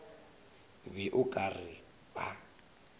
be o ka re ba